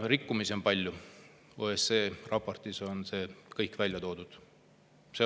Rikkumisi on palju, OSCE raportis on see kõik välja toodud.